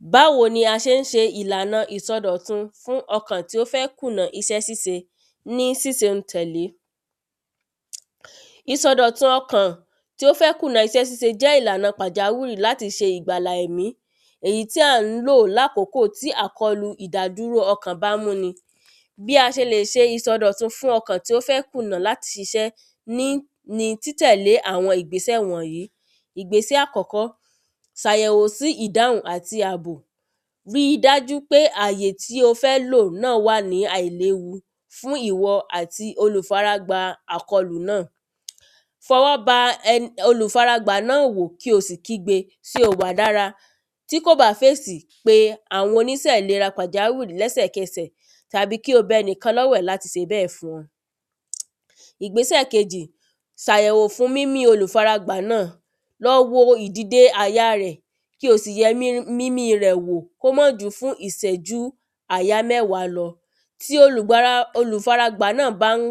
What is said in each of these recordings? Báwo ni a ṣe ń ṣe ìlànà ìsọdọ̀tun fún ọkàn tí ó fé kùnà isẹ́ síse ní sísẹ̀ n tẹ̀lé Ìsọdọ̀tun ọkàn tí ó fẹ́ kùnà isẹ́ síe jẹ́ ìlànà pàjáwìrì láti se ìgbàlà ẹ̀mí èyí tí à ń lò lákòkóò tí àkọlù ìdádúró ọkàn bá múni Bí a ṣe lè ṣe ìsọdọ̀tun ọkàn tí ó fẹ́ kùnà láti ṣiṣẹ́ ní ni títẹ̀lé àwọn ìgbésẹ̀ wọ̀nyìí ìgbésẹ̀ àkọ́kọ́ sàyẹ̀wò sí ìdáhùn àti àbò rí dájú wípé àyè tí o fẹ́ lò náà wà ní àìléwu fún ìwọ àti olùfaragbà àkọlù náà fọwọ́ ba olùfaragbà náà wò kí o sì kígbe sé o wà dára tí kò bá fèsì pe àwọn onísẹ̀ ìlera pàjáwìrì lẹ́sẹ̀kẹsẹ̀ tàbí kí o bẹnìkan lọ́wẹ̀ láti se bẹ́ẹ̀ fún ọ ìgbésẹ̀ kejì sàyẹ̀wò fún mímí olùfaragbà náà lọ wo ìdìde àyà rẹ̀ kí o sì yẹ mímí rẹ̀ wò kó mọ́ ju fún ìsẹ̀jú àyá mẹ́wàá lọ tí olùfara gbà náà bá ń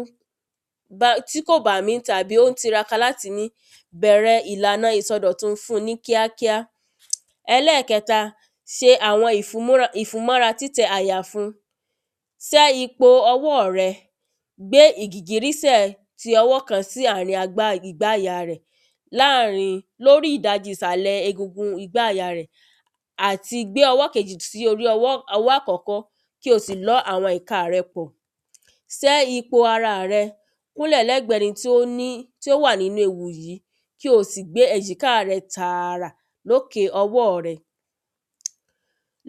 tí kò bá mí tàbí ó ń tiraka láti mí bẹ̀rẹ̀ ìlànà ìsọdọ̀tun fún ní kíákíá Ẹlẹ́ẹ̀kẹta se àwọn ìfúnmọ́ra títẹ àyà fún sẹ́ ipo ọwọ́ rẹ gbé ìgìgírísẹ̀ ti ọwọ́ kan sí àárin igbá àyà rẹ̀ láàrin lórí ìdajì ìsàlẹ̀ egungun igbá àyà rẹ̀ àti gbé ọwọ́ kejì sí orí ọwọ́ àkọ́kọ́ kí o sì lọ́ ìka rẹ pọ̀ sẹ́ ipò ara rẹ kúnlẹ̀ lẹ́gbẹ ẹni tí ó wà nínú ewu yìí kí o sì gbé èjìká rẹ tàrà lókè ọwọ́ rẹ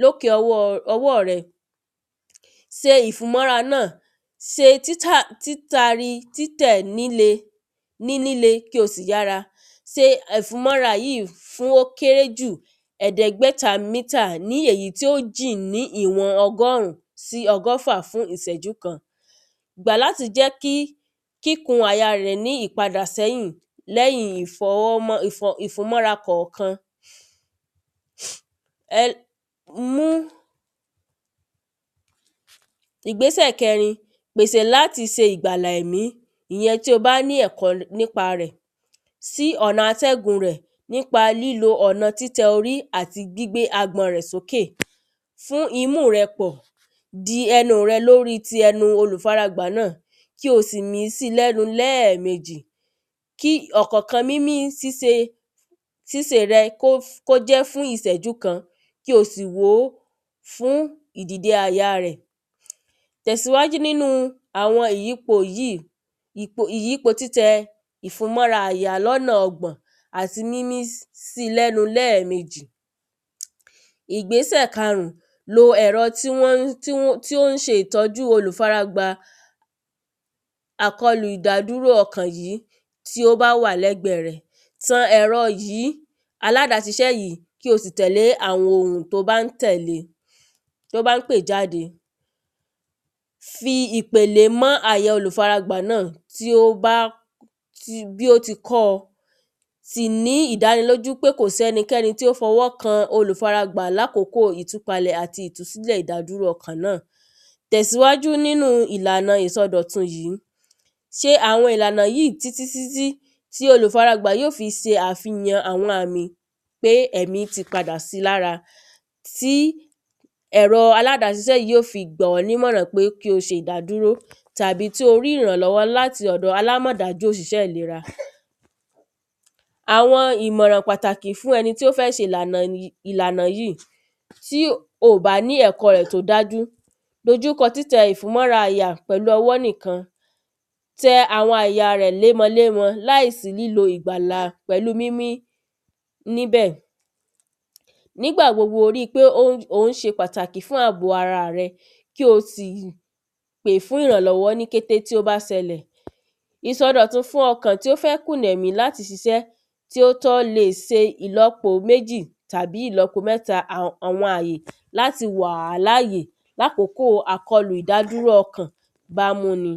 lókè ọwọ́ rẹ. se ìfúnmọ́ra náà se títari títẹ̀ líle ní líle kí o sì yára se ẹ̀fúnmọ́ra yìí kí ó kéré jù ẹ̀dẹ́gbẹ̀ta mítà ní èyí tí ó jìn ní ìwọ̀n ọgọ́rùn sí ìwọ̀n ọgọ́fà fún ìsẹ́jú kan. Gbà láti jẹ́ kí kíkùn àyà rẹ̀ ní ìpadà sẹ́yìn lẹ́yìn ìfọwọ́ ìfúnmọ́ra kọ̀kan. Ìgbésẹ̀ kẹrin pèsè láti se ìgbàlà ẹ̀mí ìyẹn tí o bá ní ẹ̀kọ́ nípa rẹ̀ sí ọ̀nà atẹ́gùn rẹ̀ nípa lílo ọ̀nà títẹ orí àti gbígbé agbọ̀n rẹ̀ sókè fún imú rẹ pọ̀ de ẹnu rẹ lórí ẹnu ti olùfaragbà náà kí o sì mí sí lẹ́nu lẹ́ẹ̀mejì kí ọ̀kọ̀kan mímí síse síse rẹ kí ó jẹ́ fún ìsẹ̀jú kan kí o sì wòó fún ìdìde àyà rẹ̀. Tẹ̀síwájú nínú àwọn ìyípo yìí ìyípo títẹ ìfúnmọ́ra àyà lọ́nà ọgbọ̀n àti mímí sí lẹ́nu lẹ́ẹ̀mejì ìgbésẹ̀ karùn lo ẹ̀rọ tí wọ́n tí ó ń ṣe ìtọ́jú olùfaragbà àkọlù ìdádúró ọkàn yìí tí ó bá wà lẹ́gbẹ̀ rẹ tan ẹ̀rọ yìí aládá ṣiṣẹ́ yìí kí o sì tẹ̀lé àwọn òrùn tí ó bá ń tẹ̀lé tí ó bá ń pè jáde fi ìpèlé mọ́ àyà olùfara gbà náà tí ó bá bí ó ti kọ́ sì ní ìdánilójú pé kò sí ẹnikẹ́ni tí ó fọwọ́ kan olùfaragbà lá kókó ìtúpalẹ̀ àti ìdádúró ọkàn náà tẹ̀síwájú nínú ìlànà ìsọdọtun yìí ṣe àwọn ìlànà ìsọdọtun yìí títí títí tí olùfaragbà yó fi ṣe àwọn àmì pé ẹ̀mí ti padà sí lára tí ẹ̀rọ alábásisẹ́ yìí yó fi gba ọ́ nímọ̀ràn pé kí o se ìdádúró tàbí tí o rí ìrànlọ́wọ́ láti ọ̀dọ alámọ́dá tí ó ń ṣiṣẹ́ ìlera Àwọn ìmọ̀ràn pàtàkì fún ẹni tí ó fẹ́ se ìlànà ìlànà yìí tí o bá ní ẹ̀kọ́ rẹ̀ tó dájú dojúko ìfúnmọ́ra àyà pẹ̀lú ọwọ́ nìkan tẹ àwọn àya rẹ̀ lémo lémo láì sí lílo ìgbàlà mímí níbẹ̀ nígbà gbogbo rí pé ò ń ṣe pàtàkì fún àbò ara rẹ kí o sì pè fún ìrànlọ́wọ́ ní kété tí ó bá ṣẹlẹ̀. ìsọdọ̀tun fún ọkàn tí ó fẹ́ kùnà láti ṣiṣẹ́ tí ó tọ́ le se ìlọ́po méjì tàbí ìlọ́po mẹ́ta àwọn àyè láti wà láàyè láàkókó àkọlù ìdádúró ọkàn bá múni.